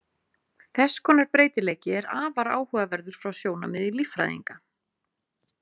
Þess konar breytileiki er afar áhugaverður frá sjónarmiði líffræðinga.